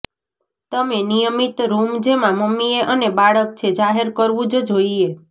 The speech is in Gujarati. તમે નિયમિત રૂમ જેમાં મમ્મીએ અને બાળક છે જાહેર કરવું જ જોઈએ